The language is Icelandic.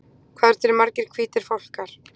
Hvað eru til margir hvítir fálkar?